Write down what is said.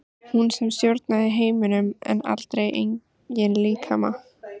Hún sem stjórnaði heiminum en aldrei eigin líkama.